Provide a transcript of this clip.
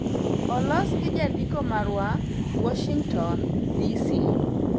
Olos gi jandiko marwa, Warshington, DC